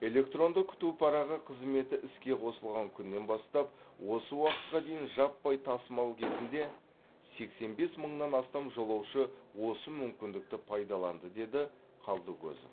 электронды күту парағы қызметі іске қосылған күннен бастап осы уақытқа дейін жаппай тасымал кезінде сексен бес мыңнан астам жолаушы осы мүмкіндікті пайдаланды деді қалдыкозов